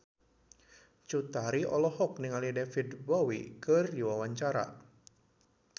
Cut Tari olohok ningali David Bowie keur diwawancara